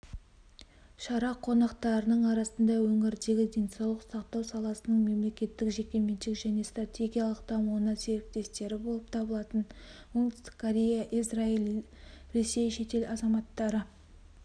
шара қонақтарының арасында өңірдегі денсаулық сақтау саласының мемлекеттік-жекеменшік және стратегиялық дамуындағы серіктестері болып табылатын оңтүстік корея израиль ресей шетел азаматтары